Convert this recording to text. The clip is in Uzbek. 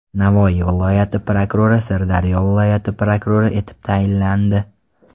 Navoiy viloyati prokurori Sirdaryo viloyati prokurori etib tayinlandi.